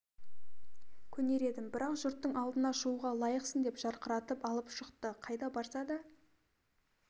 көнер едім бірақ жұрттың алдына шығуға лайықсың деп жарқыратып алып шықты қайда барса да